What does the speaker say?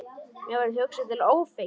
Mér verður hugsað til Ófeigs.